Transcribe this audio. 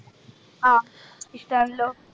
ആഹ് ഇഷ്ടാണല്ലോ